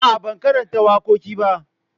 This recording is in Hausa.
A'a, ban karanta wakoki ba.